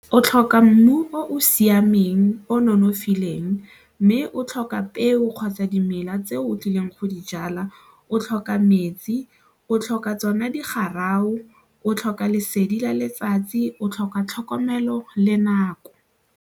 O tlhoka mmu o o siameng, o nonofileng mme o tlhoka peo kgotsa dimela tse o tlileng go di jala, o tlhoka metsi, o tlhoka tsona di o tlhoka lesedi la letsatsi o tlhoka tlhokomelo le nako.